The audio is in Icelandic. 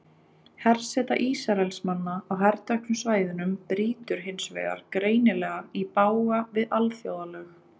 Herseta Ísraelsmanna á herteknu svæðunum brýtur hins vegar greinilega í bága við alþjóðalög.